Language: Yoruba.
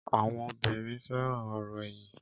Àwọn obìrin fẹràn òrò èyìn